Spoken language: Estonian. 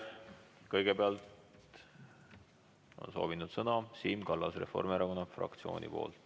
Kõigepealt on soovinud sõna Siim Kallas Reformierakonna fraktsiooni nimel.